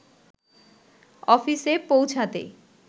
অফিসে পৌঁছাতে